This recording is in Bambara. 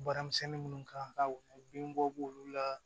Baaramisɛnnin minnu kan ka bin bɔ k'olu la